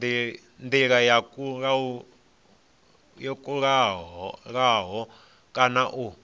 ndila yo kalulaho kana u